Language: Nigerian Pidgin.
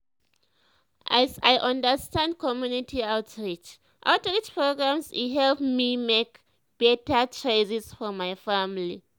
as i understand community outreach outreach programs e help me make better choices for my family.